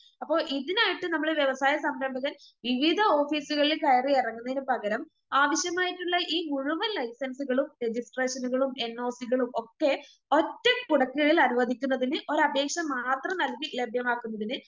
അപ്പൊ ഇതിനായിട്ട് നമ്മള് വ്യവസായ സംരംഭകൻ വിവിധ ഓഫീസുകളില് കയറിയിറങ്ങുന്നതിനു പകരം ആവശ്യമായിട്ടുള്ള ഈ മുഴുവൻ ലൈസൻസുകളും, രജിസ്ട്രേഷനുകളും, എന്നോസികളും ഒക്കെ ഒറ്റക്കുടക്കീഴിലനുവദിക്കുന്നതിന് ഒരപേക്ഷ മാത്രം നൽകി ലഭ്യമാക്കുന്നതിന്